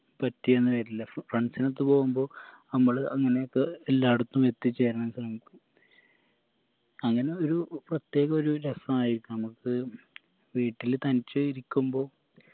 പറ്റിയെന്ന് വരില്ല ഫ friends നൊത്ത് പോവുമ്പോ അമ്മള് അംങ്ങനെയൊക്കെ എല്ലായിടത്തും എത്തിച്ചേരാൻ സാധിക്കും അങ്ങനെ ഒരു പ്രത്യേകൊരു രസായിരിക്കും മ്മക്ക് വീട്ടില് തനിച്ച് ഇരിക്കുമ്പോ